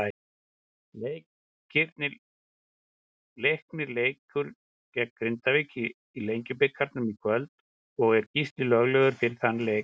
Leiknir leikur gegn Grindavík í Lengjubikarnum í kvöld og er Gísli löglegur fyrir þann leik.